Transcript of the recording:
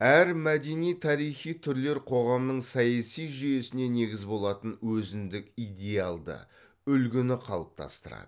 әр мәдени тарихи түрлер қоғамның саяси жүйесіне негіз болатын өзіндік идеалды үлгіні қалыптастырады